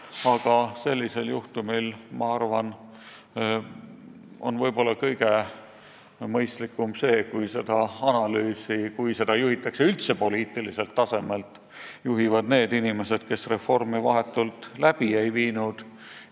Aga sellisel juhtumil on minu arvates kõige mõistlikum see, kui analüüsi juhitakse üldse poliitiliselt tasandilt ja seda teevad need inimesed, kes ise vahetult reformi ellu ei viinud.